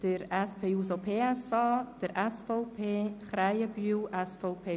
Auf die Umsetzung der Massnahme ist zu verzichten (unechte Sparmassnahme;